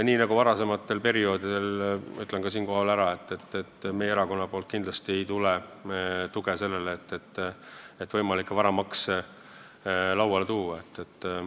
Nii nagu varem, ütlen ka siinkohal ära, et meie erakonnast kindlasti ei tule tuge võimalike varamaksude arutamiseks.